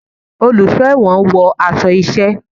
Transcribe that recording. Oluso ẹwọ́n wọ aṣọ iṣẹ